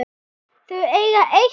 Þau eiga eitt barn.